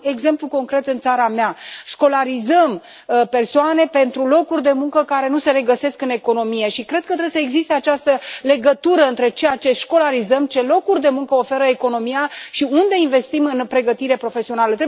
Am exemplu concret în țara mea școlarizăm persoane pentru locuri de muncă care nu se regăsesc în economie și cred că trebuie să existe această legătură între ceea ce școlarizăm, ce locuri de muncă oferă economia și unde investim în pregătire profesională.